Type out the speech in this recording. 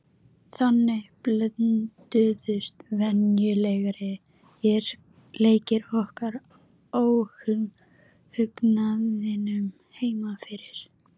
Það verður seint eða aldrei metið til fullnustu.